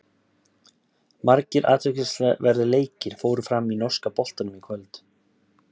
Margir athyglisverðir leikir fóru fram í norska boltanum í kvöld.